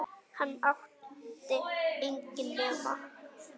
Hann átti enginn nema